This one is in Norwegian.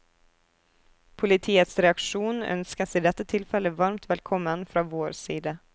Politiets reaksjon ønskes i dette tilfelle varmt velkommen fra vår side.